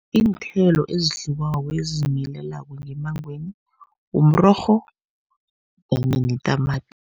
Iinthelo ezidliwako ezizimilelako ngemmangweni mrorho kanye netamati.